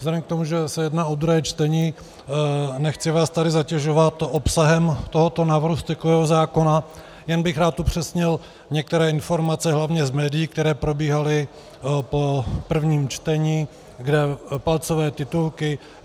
Vzhledem k tomu, že se jedná o druhé čtení, nechci vás tady zatěžovat obsahem tohoto návrhu stykového zákona, jen bych rád upřesnil některé informace hlavně z médií, které probíhaly po prvním čtení, kde palcové titulky